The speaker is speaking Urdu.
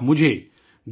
آپ مجھے